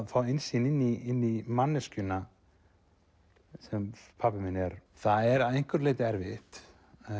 fá innsýn inn í manneskjuna sem pabbi minn er það er að einhverju leyti erfitt